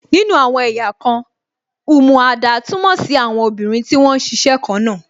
Nínú àwọn ẹ̀yà kan, umuada túmọ̀ sí àwọn obìnrin tí wón ń ṣiṣẹ́ kan náà